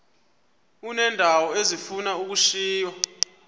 uneendawo ezifuna ukushiywa